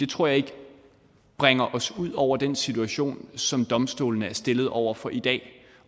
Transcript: tror ikke det bringer os ud over den situation som domstolene er stillet over for i dag